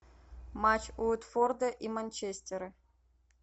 матч уотфорда и манчестера